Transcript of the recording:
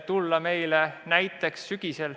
– tulla meile näiteks sügisel.